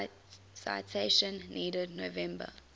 citation needed november